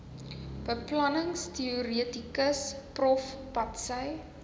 beplanningsteoretikus prof patsy